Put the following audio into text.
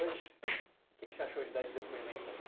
Hoje, o que você achou de dar esse depoimento aqui?